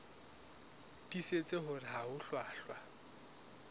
tiisitse hore ha ho hlwahlwa